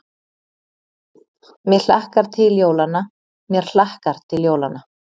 Ekki: mig hlakkar til jólanna, mér hlakkar til jólanna.